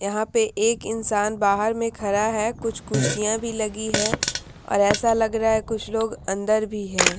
यहाँ पे एक इंसान बाहर में खड़ा है कुछ कुर्सियाँ भी लगी है और ऐसा लग रहा है कुछ लोग अंदर भी हैं ।